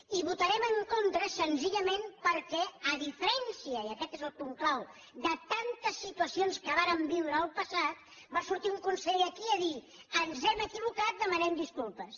i hi votarem en contra senzillament perquè a diferència i aquest és el punt clau de tantes situacions que vàrem viure en el passat va sortir un conseller aquí a dir ens hem equivocat demanem disculpes